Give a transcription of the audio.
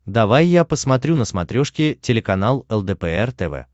давай я посмотрю на смотрешке телеканал лдпр тв